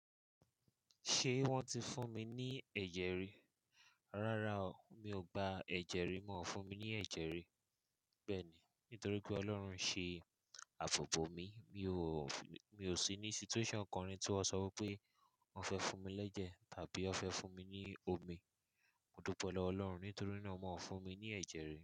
Ṣé wọ́n ti fún mi ní ẹ̀jẹ̀ rí? Rárá o, mi ò gba ẹ̀jẹ̀ rí, wọn fún mi ní ẹ̀jẹ̀ rí. Bẹ́ẹ̀ ni, nítorí pé Ọlọ́run ṣe àbòbò mi, mi ò sí ní situation kan rí tí wọ́n ṣọ wí pé wọ́n fẹ́ fún mi l'ẹ́jẹ̀ tàbí wọ́n fẹ́ fún mi ní omi. Mo dúpẹ́ lọwọ Ọlọ́run, nítorí náà wọ́n o fún mi ní ẹ̀jẹ̀ rí.